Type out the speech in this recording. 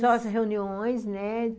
Só as reuniões, né?